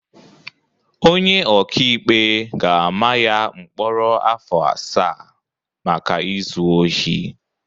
Onye ọkaikpe ga-ama ya mkpọrọ afọ asaa maka izu ohi